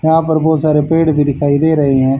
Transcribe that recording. यहां पर बहोत सारे पेड़ भी दिखाई दे रहे हैं।